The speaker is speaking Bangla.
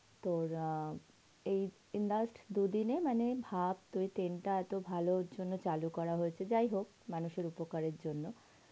তোর অ্যাঁ এই last দুই দিন ই মানে ভাব তুই train টা এত ভালো র জন্য চালু করা হয়েছে যাই হোক মানুষ এর উপকার এর জন্য,